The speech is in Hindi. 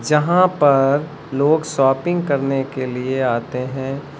यहां पर लोग शॉपिंग करने के लिए आते हैं।